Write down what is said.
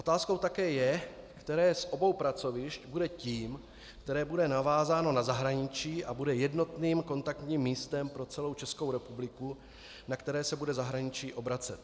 Otázkou také je, které z obou pracovišť bude tím, které bude navázáno na zahraničí a bude jednotným kontaktním místem pro celou Českou republiku, na které se bude zahraničí obracet.